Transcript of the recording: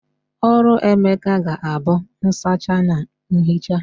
Ọrụ Emeka ga-abụ nsacha na ihicha